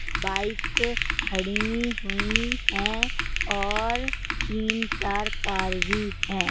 Bikes खड़ी हुई है और तीन-चार कार भी है।